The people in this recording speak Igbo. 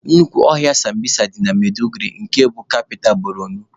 Nnukwu ọhịa sambisa dị na Maiduguri nke bụ kapita Borno